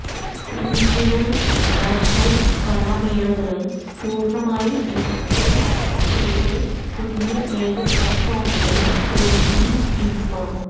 റീജിയണല്നാഷണല് കലാമേളകള് പൂര്ണ്ണമായി ഡിജിറ്റൈസ് ചെയ്ത പുതിയ ഏക പ്ലാറ്റ്ഫോമില് ഒരുക്കി യുക്മ